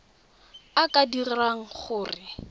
a a ka dirang gore